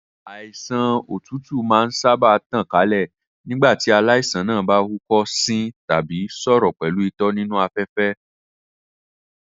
Àìsàn òtútù máa ń sáábà tàn kálẹ̀ nígbà tí aláìsàn náà bá húkọ́, sín tàbí sọ̀rọ̀ pẹ̀lú itọ́ nínú afẹ́fẹ́.